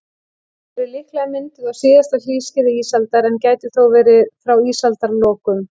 Þau eru líklega mynduð á síðasta hlýskeiði ísaldar, en gætu þó verið frá ísaldarlokum.